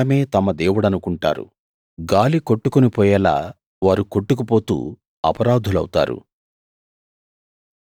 తమ బలమే తమ దేవుడనుకుంటారు గాలి కొట్టుకుని పోయేలా వారు కొట్టుకు పోతూ అపరాధులౌతారు